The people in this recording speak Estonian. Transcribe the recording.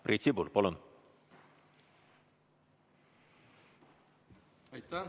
Priit Sibul, palun!